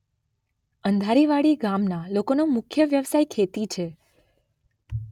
અંધારી વાડી ગામના લોકોનો મુખ્ય વ્યવસાય ખેતી છે.